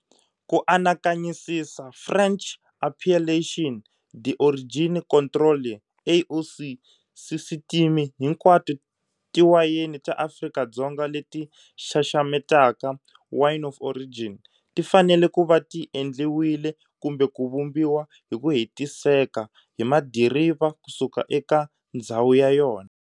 Ku anakanyisisa French Appellation d'origine contrôlée, AOC, sisitimi, hinkwato tiwayeni ta Afrika-Dzonga leti xaxametaka Wine of Origin tifanele kuva ti endliwile kumbe ku vumbiwa hiku hetiseka hi madiriva kusuka eka ndzhawu ya yona.